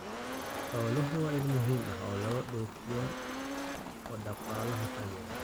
Xooluhu waa il muhiim ah oo laga dhoofiyo oo dhaqaalaha taageera.